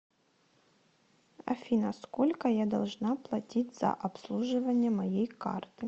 афина сколько я должна платить за обслуживание моей карты